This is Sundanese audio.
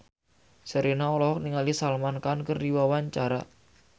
Sherina olohok ningali Salman Khan keur diwawancara